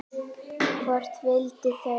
Hvort vildu þau?